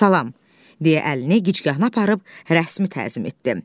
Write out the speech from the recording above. Salam, deyə əlini gicgahına aparıb rəsmi təzim etdi.